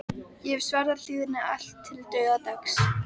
Ég hef svarið hlýðni allt til dauðadags.